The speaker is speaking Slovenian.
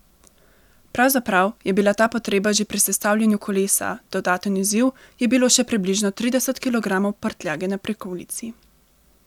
Pravzaprav je bila ta potrebna že pri sestavljanju kolesa, dodaten izziv je bilo še približno trideset kilogramov prtljage na prikolici.